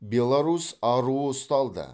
беларусь аруы ұсталды